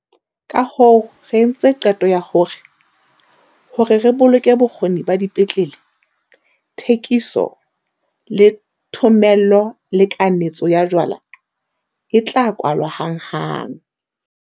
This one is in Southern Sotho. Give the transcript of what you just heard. Kahoo re entse qeto ya hore, hore re boloke bokgoni ba dipetlele, thekiso, le thomello le kanetso ya jwala e tla kwalwa hanghang.